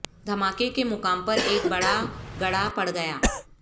دھماکے کے مقام پر ایک بڑا گڑھا پڑ گیا